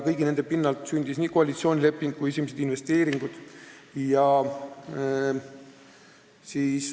Kõige selle pinnalt sündis koalitsioonileping ja sündisid esimesed investeeringud.